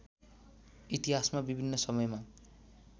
इतिहासमा विभिन्न समयमा